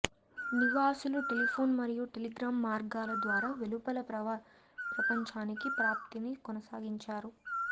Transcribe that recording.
నివాసులు టెలిఫోన్ మరియు టెలిగ్రాఫ్ మార్గాల ద్వారా వెలుపల ప్రపంచానికి ప్రాప్తిని కొనసాగించారు